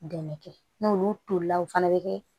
Dɛmɛ kɛ n'olu tolila o fana bɛ kɛ